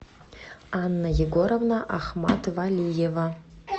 анна егоровна ахматвалиева